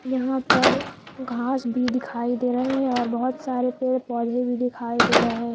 यहां पर घास भी दिखाई दे रहे हैं और बहुत सारे पेड़ पौधे भी दिखाई दे रहे हैं।